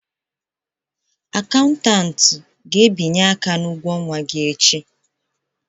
Akaụntụ ga-abịanye aka na ụgwọ ọnwa gị echi